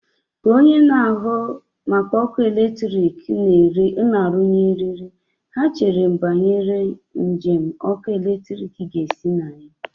Ka onye na-ahụ maka ọkụ eletrik na-arụnye eriri, ha chere banyere njem ọkụ eletrik ga-esi na ya.